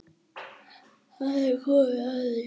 Þá er komið að því.